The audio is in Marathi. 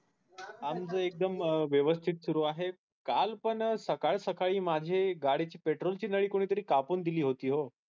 आमच एकदम व्यस्थित सुरु आहे काल पण सकाळी सकाळी माझ्या गाडीच्या petrol ची नळी कापून दिली होती ओ